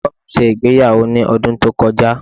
Ẹ̀gbọ́n mi ṣe ìgbéyàwó ní ọdún tó kọjá.